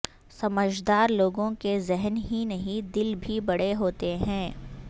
سمجھدار لوگوں کے ذہن ہی نہیں دل بھی بڑے ہوتے ہیں